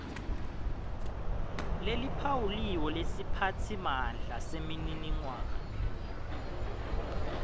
leliphawuliwe lesiphatsimandla semininingwane